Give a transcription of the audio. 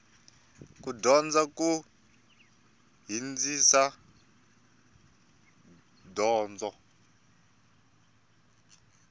ku dyondza ku hindzisa donzo